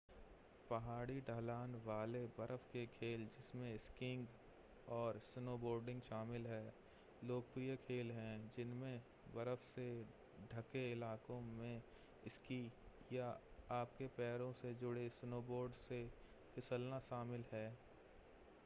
पहाड़ी ढलान वाले बर्फ के खेल जिसमें स्कीइंग और स्नोबोर्डिंग शामिल हैं लोकप्रिय खेल हैं जिनमें बर्फ से ढके इलाकों में स्की या आपके पैरों से जुड़े स्नोबोर्ड से फिसलना शामिल है